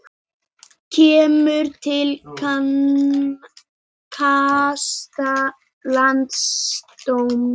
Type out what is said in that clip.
Kemur til kasta landsdóms